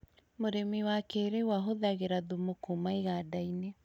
Mũrĩmi wa kĩrĩu ahũthagĩra thumu kuma iganda-inĩ